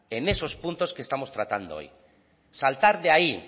en esos puntos que estamos tratando hoy saltar de ahí